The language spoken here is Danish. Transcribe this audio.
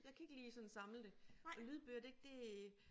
Jeg kan ikke lige sådan samle det og lydbøger det det